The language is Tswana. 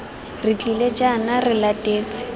re tlile jaana re latetse